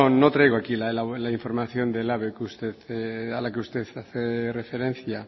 no no traigo aquí la información de elhabe a la que usted hace referencia